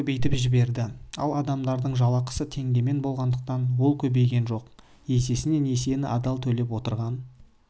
көбейтіп жібереді ала адамдардың жалақысы теңгемен болғандықтан ол көбейген жоқ есесіне несиені адал төлеп отырған